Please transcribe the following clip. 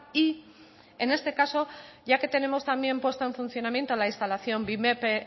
y en este caso ya que tenemos también puesta en funcionamiento la instalación bimep